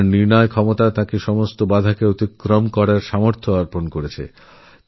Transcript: তাঁর বিচক্ষণতা সমস্ত বাধা অতিক্রম করার শক্তি দিয়েছিল